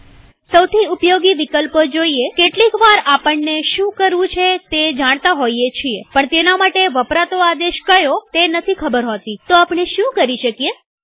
સૌથી ઉપયોગી વિકલ્પો જોઈએકેટલીક વાર આપણને શું કરવું છે તે જાણતા હોઈએ છીએ પણ તેના માટે વપરાતો આદેશ કયો તે નથી ખબર હોતીતો આપણે શું કરી શકીએ160